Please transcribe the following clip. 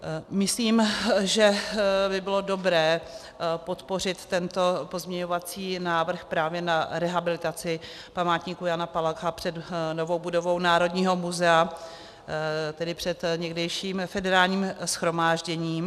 Myslím, že by bylo dobré podpořit tento pozměňovací návrh právě na rehabilitaci památníku Jana Palacha před novou budovu Národního muzea, tedy před někdejším Federálním shromážděním.